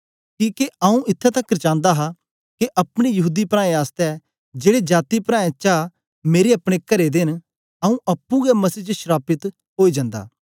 किके आंऊँ इत्थैं तकर चांदा हा के अपने यहूदी प्राऐं आसतै जेड़े जाती प्राऐं चा मेरे अपने करे दे न आंऊँ अप्पुं गै मसीह च श्रापित ओई जन्दा